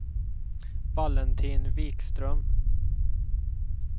Valentin Wikström